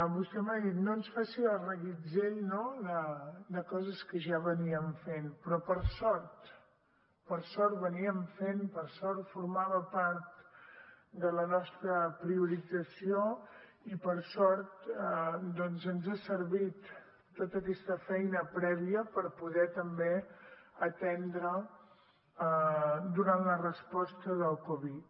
vostè m’ha dit no ens faci el reguitzell no de coses que ja anaven fent però que per sort fèiem per sort formava part de la nostra priorització i per sort doncs ens ha servit tota aquesta feina prèvia per poder també atendre durant la resposta del covid